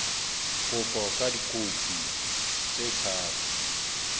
kopo ka dikopi tse tharo